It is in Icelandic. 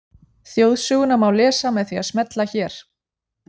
Þjóðsöguna má lesa með því að smella hér.